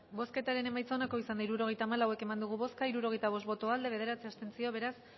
bozketaren emaitza onako izan da hirurogeita hamalau eman dugu bozka hirurogeita bost boto aldekoa bederatzi abstentzio beraz